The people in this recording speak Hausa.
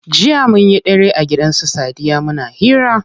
Jiya munyi dare a gidan su sadiya muna hira.